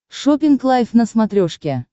шоппинг лайв на смотрешке